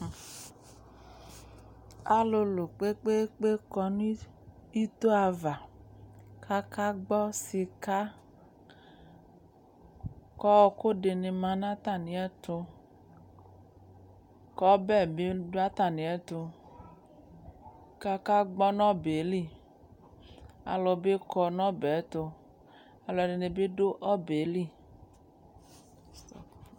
alʋlʋ kpɛpkɛ kɔnʋ ito aɣa kʋ aka gbɔ sika ku ɔkʋ di ma nu atani ɛtʋ kʋbɛ bi du ataniɛtʋ ka aka gbɔ nʋ ɔbɛ li alʋ bi kɔ nʋ ɔbɛ ɛtʋ alʋɛdini bi du ɔbɛ ɛli